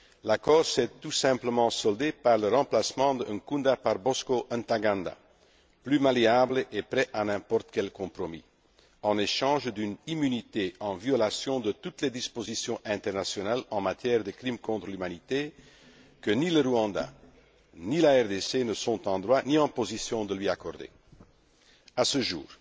L'accord s'est tout simplement soldé par le remplacement de Nkunda par Bosco Ntaganda, plus malléable et prêt à n'importe quel compromis, en échange d'une immunité en violation de toutes les dispositions internationales en matière de crimes contre l'humanité que ni le Rwanda ni la RDC ne sont en droit ni en position de lui accorder. À ce jour,